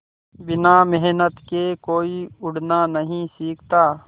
बिना मेहनत के कोई उड़ना नहीं सीखता